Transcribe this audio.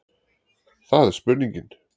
Það er spurningin.